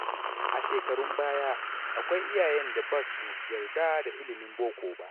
A shekarun baya, akwai iyayen da ba su yarda da ilimin boko ba.